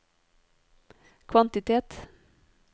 kvantitet